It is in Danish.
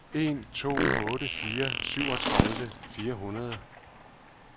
en to otte fire syvogtredive fire hundrede